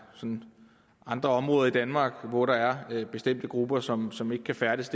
andre områder i danmark hvor der er bestemte grupper som som ikke kan færdes